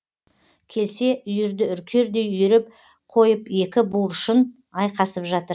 келсе үйірді үркердей үйіріп қойып екі буыршын айқасып жатыр